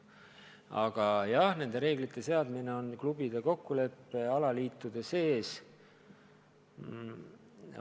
Aga nende reeglite seadmine on alaliitude klubide sisene asi.